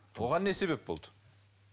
оған не себеп болды